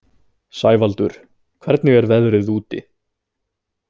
Sævaldur, hvernig er veðrið úti?